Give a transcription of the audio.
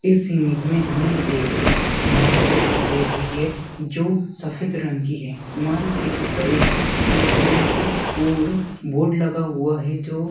इस इमेंज में हमें एक इमारत दिखाई दे रही है जो सफेद रंग की है। इमारत की छत पर एक छतरी लगी हुई है और बोर्ड लगा हुआ है जो --